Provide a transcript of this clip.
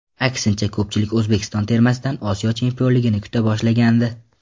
Aksincha, ko‘pchilik O‘zbekiston termasidan Osiyo chempionligini kuta boshlagandi.